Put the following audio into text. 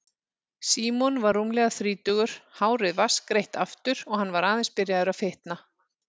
Símon var rúmlega þrítugur, hárið vatnsgreitt aftur og hann var aðeins byrjaður að fitna.